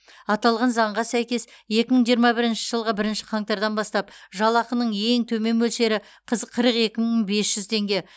аталған заңға сәйкес екі мың жиырма бірінші жылғы бірінші қаңтардан бастап жалақының ең төмен мөлшері қыз қырық екі мың бес жүз теңге